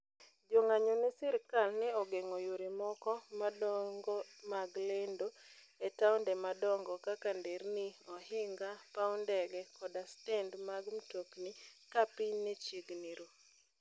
Jo ng'anyo ne sirkal ne ogeng'o yore moko madongo mag lendo e taonde madongo kaka nderni, ohinga, paw ndege, koda stend mag mtokni ka piny ne chiegni ru.